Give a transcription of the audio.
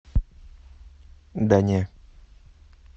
да не